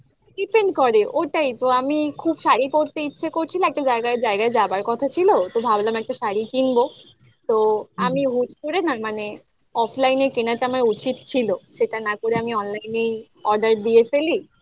depend করে ওটাই তো আমি খুব শাড়ি পড়তে ইচ্ছে করছিল একটা জায়গায় জায়গায় যাবার কথা ছিল তো ভাবলাম একটা শাড়ি কিনবো তো আমি হুট্ করে না মানে offline এ কেনাটা আমার উচিত ছিল সেটা না করে আমি online এই order দিয়ে ফেলি